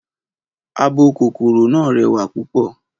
Abo kòkòrò náà rẹwà púpò.